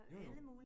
Jo jo